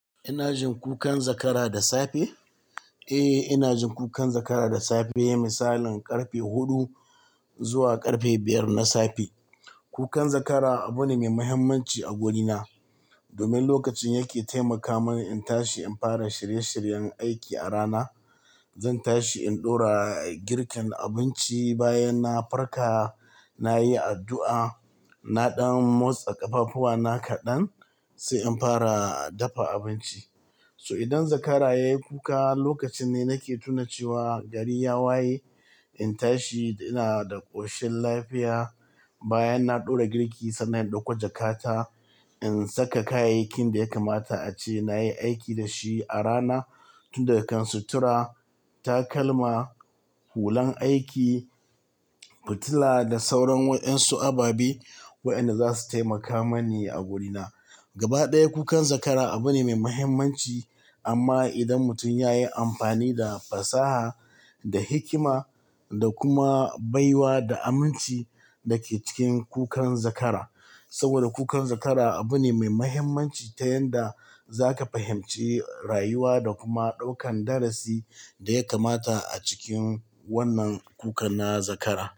Ina jin kukan zakara da safe? Eh, ina jin kukan zakara da safe. Misalin ƙarfe huɗu zuwa ƙarfe biyar na safe. Kukan zakara abune mai mahimmanci a wurina, domin lokacin yake taimaka mani in tashi in fara shirye shiryen aiki a rana. Zan tashi in ɗora girkin abinci bayanna farka, nayi addu'a, na ɗan motsa ƙafafuwana kaɗan sai in fara dafa abinci. So idan zakara yayi kuka, lokacinne nake tuna cewa gari ya waye. In tashi ina da ƙoshin lafiya. Bayanna ɗora girki sannan in ɗauko jakata, in saka kayayyakin daya kamata ace nayi aiki dashi a rana, tunda kan sutura, takalma, hulan aiki, fitila da sauran wayansu ababe, waɗanda zasu taimaka mani a wurina. Gaba ɗaya kukan zakara abune mai mahimmanci amma idan mutum yayi amfani da fasaha da hikima da kuma baiwa da aminci dake cikin kukan zakara. Saboda kukan zakara abune mai mahimmanci ta yanda zaka fahimci rayuwa da kuma ɗaukan darasi daya kamata a cikin wannan kukan na zakara.